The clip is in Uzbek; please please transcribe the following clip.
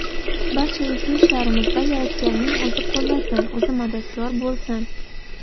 Barcha ezgu ishlarimizda Yaratganning o‘zi qo‘llasin, o‘zi madadkor bo‘lsin!